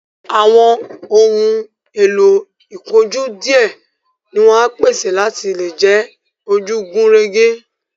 Àwọn ohun èlò ìkojú díẹ̀ ni wọ́n á pèsè láti lè jẹ́ ojú gùn régé